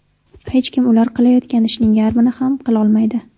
Hech kim ular qilayotgan ishning yarmini ham qilolmaydi.